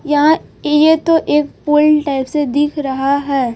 यह ये तो एक पुल टाइप सा दिख रहा है।